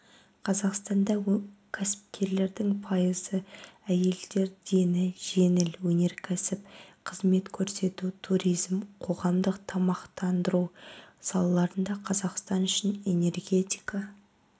қазақстанда кәсіпкерлердің пайызы әйелдер дені жеңіл өнеркәсіп қызмет көрсету туризм қоғамдық тамақтандыру салаларында қазақстан үшін энергетика